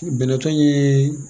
Bɛnɛtɔ ye